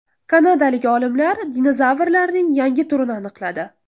Kanadalik olimlar dinozavrlarning yangi turini aniqladi.